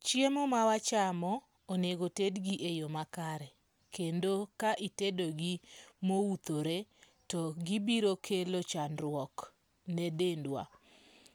Chiemo ma wachamo, onego tedgi e yo makare kendo ka itedogi mouthore to gibiro kelo chandruok ne dendwa